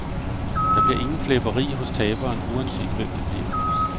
Der bliver ingen flæberi hos taberen, uanset hvem det bliver.